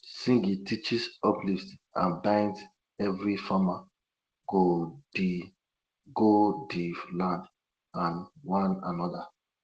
singing teaches uplifts and binds everi farmer go di go di land and one anoda